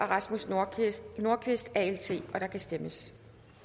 rasmus nordqvist nordqvist og der kan stemmes